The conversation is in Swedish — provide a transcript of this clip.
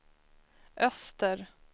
öster